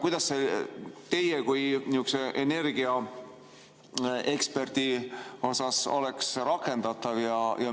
Kuidas see teie kui energiaeksperdi arvates oleks rakendatav?